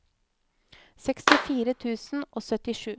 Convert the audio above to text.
sekstifire tusen og syttisju